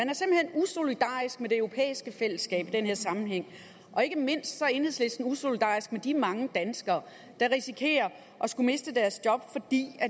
usolidarisk med det europæiske fællesskab i den her sammenhæng og ikke mindst er enhedslisten usolidarisk med de mange danskere der risikerer at miste deres job fordi